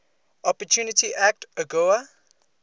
opportunity act agoa